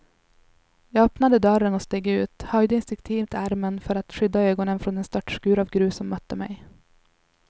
Jag öppnade dörren och steg ut, höjde instinktivt armen för att skydda ögonen från den störtskur av grus som mötte mig.